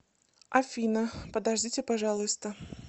афина подождите пожалуйста